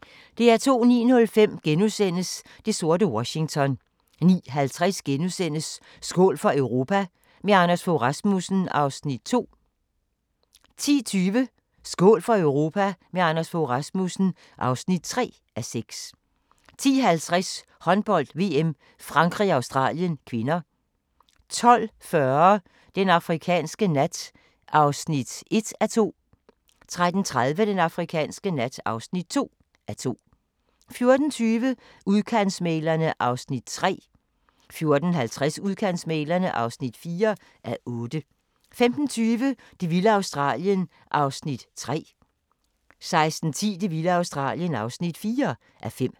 09:05: Det sorte Washington * 09:50: Skål for Europa – med Anders Fogh Rasmussen (2:6)* 10:20: Skål for Europa – med Anders Fogh Rasmussen (3:6) 10:50: Håndbold: VM - Frankrig-Australien (k) 12:40: Den afrikanske nat (1:2) 13:30: Den afrikanske nat (2:2) 14:20: Udkantsmæglerne (3:8) 14:50: Udkantsmæglerne (4:8) 15:20: Det vilde Australien (3:5) 16:10: Det vilde Australien (4:5)